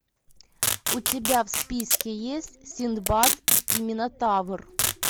у тебя в списке есть синдбад и минотавр